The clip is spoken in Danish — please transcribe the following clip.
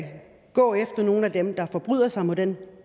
gå efter nogle af dem der forbryder sig mod den